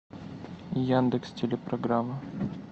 яндекс телепрограмма